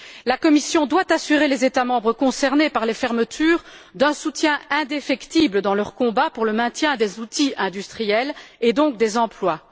La Commission doit assurer les États membres concernés par les fermetures d'un soutien indéfectible dans leur combat pour le maintien des outils industriels et donc des emplois.